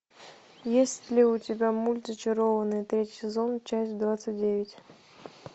есть ли у тебя мульт зачарованные третий сезон часть двадцать девять